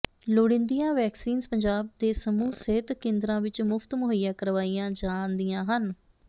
ਲੋੜੀਂਦੀਆਂ ਵੈਕਸੀਨਜ਼ ਪੰਜਾਬ ਦੇ ਸਮੂਹ ਸਿਹਤ ਕੇਂਦਰਾਂ ਵਿਚ ਮੁਫ਼ਤ ਮੁਹੱਈਆ ਕਰਵਾਈਆਂ ਜਾਂਦੀਆਂ ਹਨ